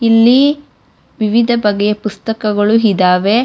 ಇಲ್ಲಿ ವಿವಿಧ ಬಗೆಯ ಪುಸ್ತಕಗಳು ಇದಾವೆ.